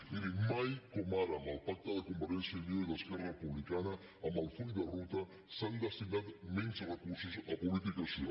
miri mai com ara amb el pacte de convergència i unió i d’esquerra republicana amb el full de ruta s’han destinat menys recursos a polítiques socials